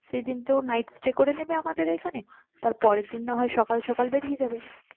সেদিন কেউ night stay করে নিবে আমাদের এখানে তার পরেরদিন নাহয় সকাল সকাল বেরিয়ে হবে